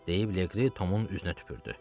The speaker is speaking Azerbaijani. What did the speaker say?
deyib Leqri Tomun üzünə tüpürdü.